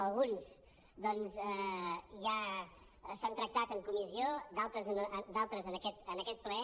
alguns ja s’han tractat en comissió d’altres en aquest ple